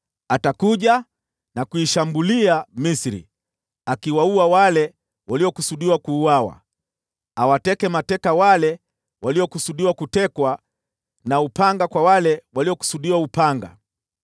Atakuja na kuishambulia Misri, akiwaua wale waliokusudiwa kuuawa, awateke mateka wale waliokusudiwa kutekwa, na upanga kwa wale waliokusudiwa upanga.